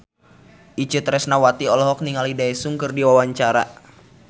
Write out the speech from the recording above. Itje Tresnawati olohok ningali Daesung keur diwawancara